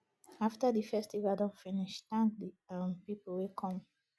after di festival don finish thank di um pipo wey come